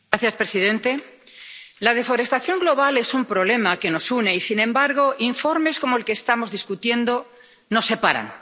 Señor presidente, la deforestación global es un problema que nos une y, sin embargo, informes como el que estamos discutiendo nos separan.